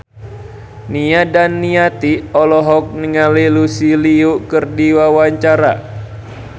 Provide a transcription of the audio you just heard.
Nia Daniati olohok ningali Lucy Liu keur diwawancara